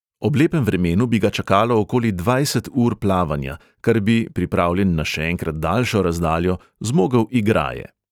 Ob lepem vremenu bi ga čakalo okoli dvajset ur plavanja, kar bi, pripravljen na še enkrat daljšo razdaljo, zmogel igraje.